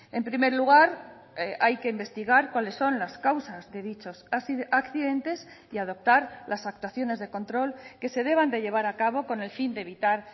en primer lugar hay que investigar cuáles son las causas de dichos accidentes y adoptar las actuaciones de control que se deban de llevar a cabo con el fin de evitar